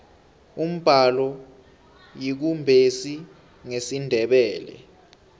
umbalo yikumbesi ngesindebele